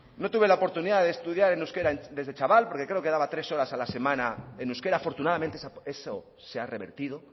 no tuve la oportunidad de estudiar en euskera desde chaval porque creo que daba tres horas a la semana en euskera afortunadamente eso se ha revertido